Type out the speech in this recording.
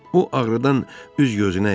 O ağrıdan üz-gözünə idi.